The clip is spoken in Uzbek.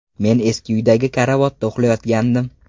Men eski uydagi karavotda uxlayotgandim.